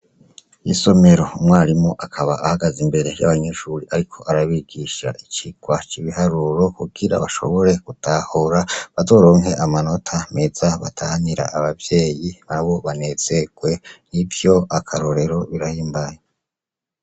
Isomero, umwarimu akaba ahagaze imbere y'abanyeshure ariko arabigisha icigwa c'ibiharuro, kugira bashobore gutahura bazoronke amanota meza batahanira abavyeyi nabo banezererwe, nivyo akarorero bibahimbare.